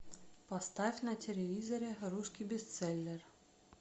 поставь на телевизоре русский бестселлер